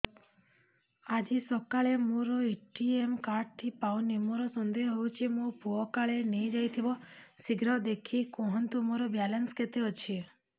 ଆଜି ସକାଳେ ମୋର ଏ.ଟି.ଏମ୍ କାର୍ଡ ଟି ପାଉନି ମୋର ସନ୍ଦେହ ହଉଚି ମୋ ପୁଅ କାଳେ ନେଇଯାଇଥିବ ଶୀଘ୍ର ଦେଖି କୁହନ୍ତୁ ମୋର ବାଲାନ୍ସ କେତେ ଅଛି